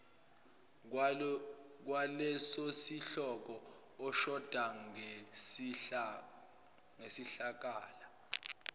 kwalesosihloko oshoda ngesikhala